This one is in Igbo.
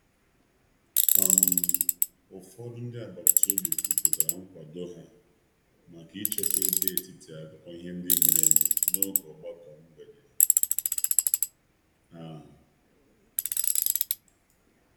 Ụfọdụ ndị agbata obi kwupụtara nkwado ha maka ịchekwa ebe etiti akụkọ ihe nde mere eme n’oge ogbako mgbede ahụ.